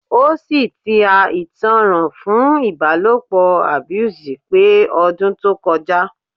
O si ti a itanran fun ibalopo abuse pẹ odun to koja